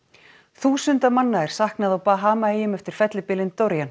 þúsunda manna er saknað á Bahamaeyjum eftir fellibylinn